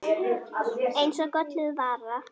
Eins og gölluð vara.